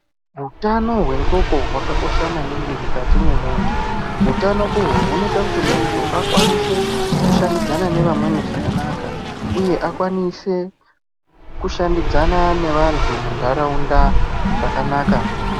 Hutano hwendxoko hwakakosha maningi mukati mwemuntu hutano uhu hunoita kuti muntu akwanise kushandidzana nevamweni zvakanaka uye akwanise kushandidzana nevantu muntaraunda zvakanaka.